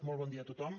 molt bon dia a tothom